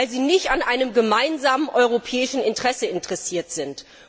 Weil sie nicht an einem gemeinsamen europäischen Interesse orientiert sind.